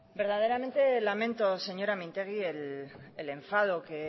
verdaderamente lamento señora mintegi el enfado que